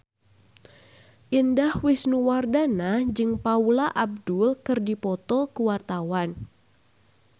Indah Wisnuwardana jeung Paula Abdul keur dipoto ku wartawan